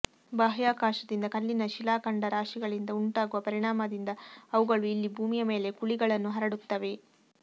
ಬಾಹ್ಯಾಕಾಶದಿಂದ ಕಲ್ಲಿನ ಶಿಲಾಖಂಡರಾಶಿಗಳಿಂದ ಉಂಟಾಗುವ ಪರಿಣಾಮದಿಂದ ಅವುಗಳು ಇಲ್ಲಿ ಭೂಮಿಯ ಮೇಲೆ ಕುಳಿಗಳನ್ನು ಹರಡುತ್ತವೆ